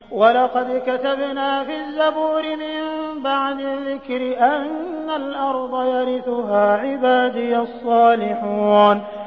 وَلَقَدْ كَتَبْنَا فِي الزَّبُورِ مِن بَعْدِ الذِّكْرِ أَنَّ الْأَرْضَ يَرِثُهَا عِبَادِيَ الصَّالِحُونَ